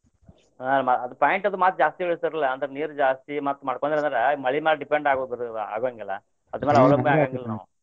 ಹ ಅದ್ point ಅದು ಮತ್ತ್ ಜಾಸ್ತಿ ಇಳಸ್ರಿಲ್ಲ ಅಂದ್ರ ನೀರ್ ಜಾಸ್ತಿ ಮತ್ತ್ ಮಾಡ್ಕೊಂಡ್ರಿ ಅಂದ್ರ ಮಳಿ ಮ್ಯಾಲ depend ಆಗುರುದಿಲ್ಲ ಆಗುವಂಗಿಲ್ಲ ಅದರ ಮ್ಯಾಲ .